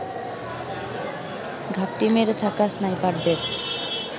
ঘাপটি মেরে থাকা স্নাইপারদের